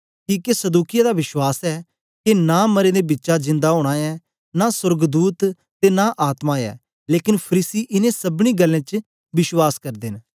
किके सदूकिया दा विश्वास ऐ के नां मरें दे बिचा जिंदा ओना ऐ नां सोर्गदूत ते नां आत्मा ऐ लेकन फरीसी इनें सबनीं गल्लें च विश्वास करदे न